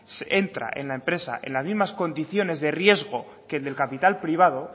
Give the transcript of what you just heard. entra en la empresa en las mismas condiciones de riesgo que el de capital privado